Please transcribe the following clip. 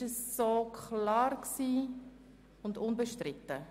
Ist dieses Prozedere klar und unbestritten?